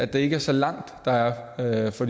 det ikke er så langt der er for